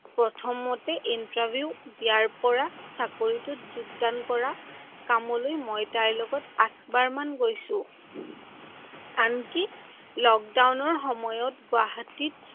প্ৰথমতে interview দিয়াৰ পৰা চাকৰিটোত যোগ্দান কৰা কামলৈকে মই তাইৰ লগত আঠবাৰ মান গৈছো। আনকি লকদাউনৰ সময়ত গুৱাহাটীত